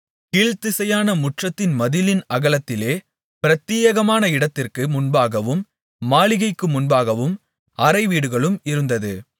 கீழ்த்திசையான முற்றத்து மதிலின் அகலத்திலே பிரத்தியேகமான இடத்திற்கு முன்பாகவும் மாளிகைக்கு முன்பாகவும் அறைவீடுகளும் இருந்தது